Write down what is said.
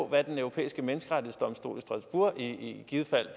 hvad den europæiske menneskerettighedsdomstol i strasbourg i givet fald